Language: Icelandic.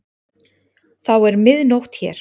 Þá er mið nótt hér.